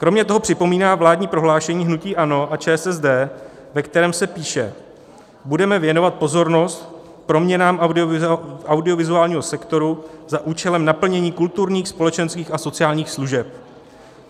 Kromě toho připomíná vládní prohlášení hnutí ANO a ČSSD, ve kterém se píše: "Budeme věnovat pozornost proměnám audiovizuálního sektoru za účelem naplnění kulturních, společenských a sociálních služeb.